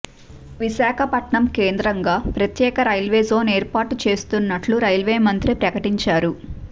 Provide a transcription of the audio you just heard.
విశాఖపట్నం కేంద్రంగా ప్రత్యేక రైల్వేజోన్ ఏర్పాటు చేస్తున్నట్లు రైల్వే మంత్రి ప్రకటించారు